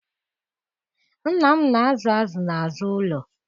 Nna m na-azụ azụ n'azụ ụlọ